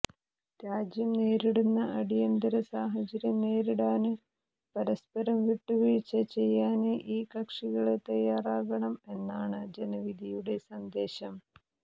രാജ്യം നേരിടുന്ന അടിയന്തര സാഹചര്യം നേരിടാന് പരസ്പരം വിട്ടുവീഴ്ച ചെയ്യാന് ഈ കക്ഷികള് തയ്യാറാകണം എന്നാണ് ജനവിധിയുടെ സന്ദേശം